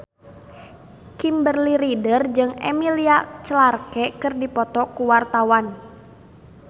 Kimberly Ryder jeung Emilia Clarke keur dipoto ku wartawan